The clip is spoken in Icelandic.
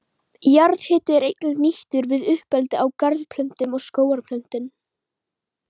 Jarðhiti er einnig nýttur við uppeldi á garðplöntum og skógarplöntum.